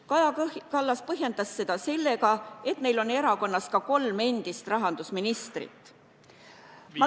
Kaja Kallas põhjendas seda sellega, et neil on erakonnas ka kolm endist rahandusministrit.